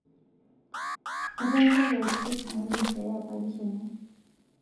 Etaasa pooki toki naidim peeya parish enye